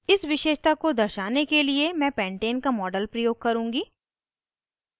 इस विशेषता को दर्शाने के लिए मैं pentane का model प्रयोग करुँगी